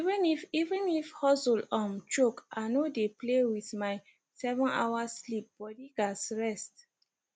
even if even if hustle um choke i no dey play with my sevenhour sleep body gats rest